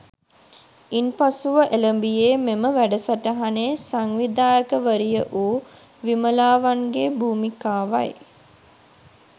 ඉන්පසුව එළඹියේ මෙම වැඩසටහනේ සංවිධායකවරිය වූ විමලාවන්ගේ භූමිකාවයි